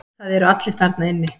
Það eru allir þarna inni.